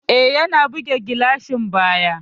E, ya buge gilashin bayan.